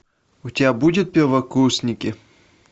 у тебя будет первокурсники